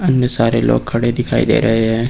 अन्य सारे लोग खड़े दिखाई दे रहे हैं।